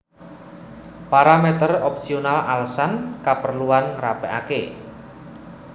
Paramèter opsional alesan kaperluan ngrapèkaké